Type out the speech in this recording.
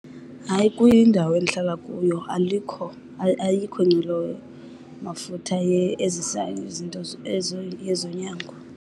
Hayi kwindawo endihlala kuyo alikho, ayikho inqwelomafutha ezisa izinto ezonyango.